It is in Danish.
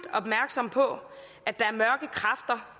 opmærksomme på at der